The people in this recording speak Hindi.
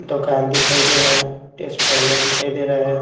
दोकान दिखाई दे रहा है ट्रांसफार्मर दिखाई दे रहा है।